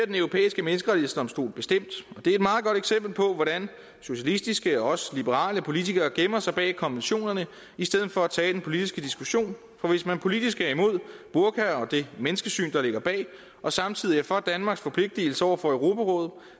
den europæiske menneskerettighedsdomstol bestemt og eksempel på hvordan socialistiske og også liberale politikere gemmer sig bag konventionerne i stedet for at tage den politiske diskussion for hvis man politisk er imod burka og det menneskesyn der ligger bag og samtidig er for danmarks forpligtelse over for europarådet